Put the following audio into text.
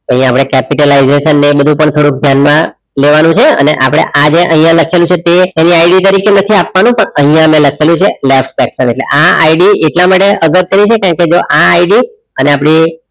અહીંયા આપણે capitalization ને બધુ પણ થોડુક ધ્યાનમાં લેવાનું છે અને આપણે આજે અહીંયા લખેલુ છે તે એની ID તરીકે નથી આપવાનું પણ અહીંયા મે લખેલું છે left section એટલે આ ID એટલા માટે અગત્યનું છે કેમ કે જો આ ID અને આપણી